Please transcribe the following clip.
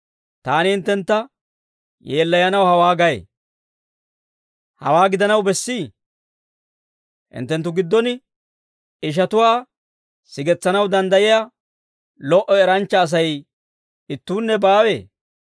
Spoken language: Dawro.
Taani hinttentta yeellayanaw hawaa gay; hawaa gidanaw bessii? Hinttenttu giddon ishatuwaa sigetsanaw danddayiyaa lo"o eranchcha Asay ittuunne baawee?